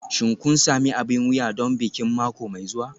Shin kun sami abin wuya don bikin mako mai zuwa?